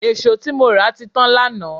È̀ṣó tí mo rà ti tán lánàá